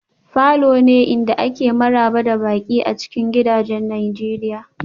falors ne inda ake maraba da baƙi a cikin gidajen nigeria